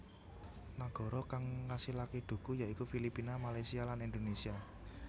Nagara kang ngasilaké dhuku ya iku Filipina Malaysia lan Indonesia